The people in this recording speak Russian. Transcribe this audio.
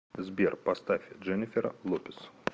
сбер поставь дженнифер лопез